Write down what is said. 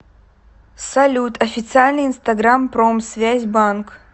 салют официальный инстаграм промсвязь банк